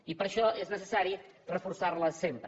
i per això és necessari reforçar la sempre